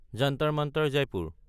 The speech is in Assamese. জন্তাৰ মান্তাৰ (জয়পুৰ)